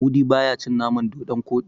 mudi ba ya cin naman dodon Koɗi